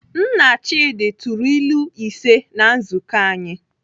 Nna Chidi tụrụ ilu ise na nzukọ anyị.